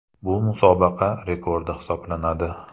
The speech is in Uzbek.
Bu musobaqa rekordi hisoblanadi .